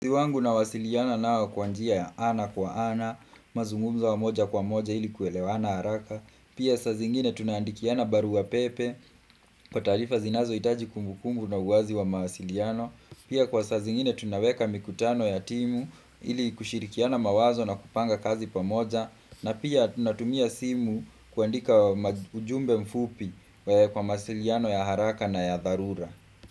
Wangu nawasiliana nao kwa njia ya ana kwa ana, mazungumzo ya moja kwa moja ili kuelewana haraka. Pia sa zingine tunaandikiana barua pepe kwa tarifa zinazohitaji kumbukumbu na uwazi wa mawasiliano. Pia kwa sa zingine tunaweka mikutano ya timu ili kushirikiana mawazo na kupanga kazi pamoja. Na pia tunatumia simu kwandika ujumbe mfupi kwa mawasiliano ya haraka na ya dharura.